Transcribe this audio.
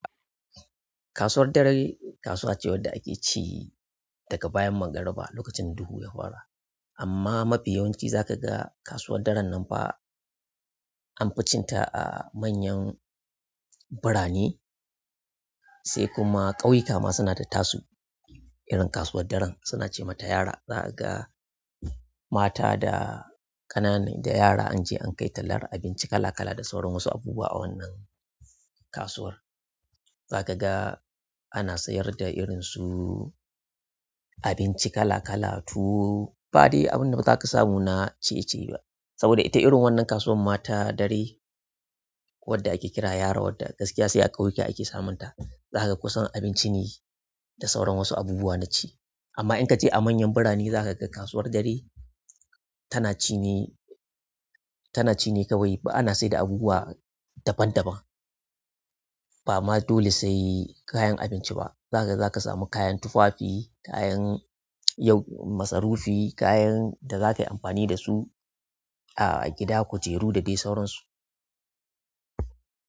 Kasuwar dare, kasuwace wanda ake ci daga bayan mangariba lokacin duhu ya fara, amma mafi yawanci zaka ga kasuwan daren nan fa anfi cinta a manyan biranai sai kuma kauyika ma suna da tasu, irin kasuwar daren suna ce mata yara. Za ka ga mata da ƙananan da yara an je an kai tallar abinci kala kala da sauran wasu abubuwa a wannan kasuwar. Za ka ga ana sayar da irinsu abinci kala kala tuwo ba dai abinda na zaka samu na ciye-ciye ba, saboda ita irin wannan kasuwar ma ta dare wadda ake kira yara wadda gaskiya sai a ƙauyuka ake samun ta. Za kaga kusan abinci ne da sauran wasu abubuwa na ci. Amma in ka je a manyan birane za ka ga kasuwar dare tana ci ne, tana ci ne kawai. Ba ana sai da abubuwa daban daban. Ba ma dole sai kayan abinci ba. Za kaga za ka samu kayan tufafi, kayan yau masarufi, kayan da za ka yi amfani da su a gida, kujeru da dai sauransu.